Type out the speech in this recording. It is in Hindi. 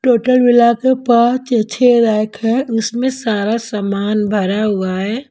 टोटल मिला के पाँच या छह रैक है उसमें सारा सामान भरा हुआ है।